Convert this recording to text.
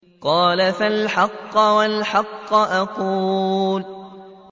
قَالَ فَالْحَقُّ وَالْحَقَّ أَقُولُ